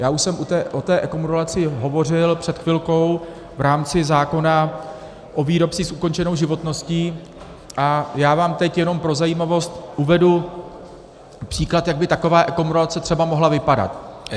Já už jsem o té ekomodulaci hovořil před chvilkou v rámci zákona o výrobcích s ukončenou životností a já vám teď jenom pro zajímavost uvedu příklad, jak by taková ekomodulace třeba mohla vypadat.